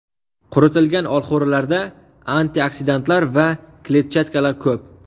Quritilgan olxo‘rilarda antioksidantlar va kletchatkalar ko‘p.